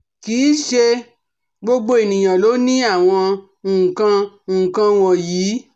Kì í ṣe gbogbo ènìyàn ló ní àwọn nkan nkan wọ̀nyí